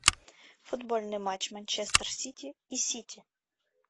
футбольный матч манчестер сити и сити